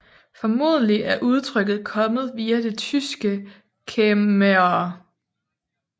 Formodentlig er udtrykket kommet via det tyske Kämmerer